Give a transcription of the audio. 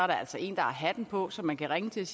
der altså en der har hatten på som man kan ringe til